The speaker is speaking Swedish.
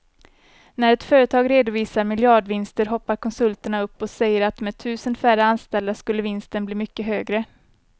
När ett företag redovisar miljardvinster hoppar konsulterna upp och säger att med tusen färre anställda skulle vinsten bli mycket högre.